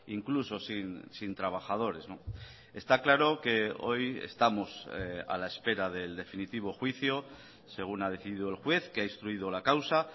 incluso sin trabajadores está claro que hoy estamos a la espera del definitivo juicio según ha decidido el juez que ha instruido la causa